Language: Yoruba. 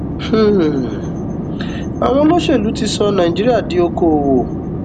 um àwọn olóṣèlú ti sọ nàìjíríà di okoòwò